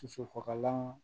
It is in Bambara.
Sosofagalan